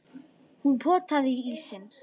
Hún potaði í ísinn.